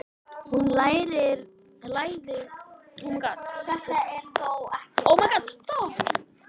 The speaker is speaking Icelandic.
Hún lærði af honum.